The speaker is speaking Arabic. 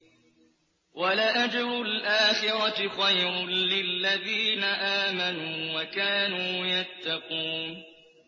وَلَأَجْرُ الْآخِرَةِ خَيْرٌ لِّلَّذِينَ آمَنُوا وَكَانُوا يَتَّقُونَ